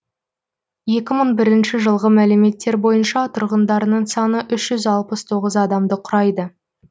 екі мың бірінші жылғы мәліметтер бойынша тұрғындарының саны үш жүз алпыс тоғыз адамды құрайды